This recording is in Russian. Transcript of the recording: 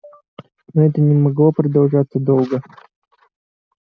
но это не могло продолжаться долго